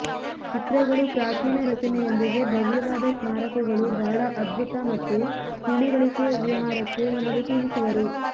ಚಿತ್ರಗಳು ಪ್ರಾಚೀನ ರಚನೆಯೊಂದಿಗೆ ಭವ್ಯವಾದ ಸ್ಮಾರಕಗಳು ಬಹಳ ಅದ್ಭುತ ಮತ್ತು ತಿಳಿವಳಿಕೆ ವಿಹಾರಕ್ಕೆ ನಿಮಗೆ ತಿಳಿಸುವರು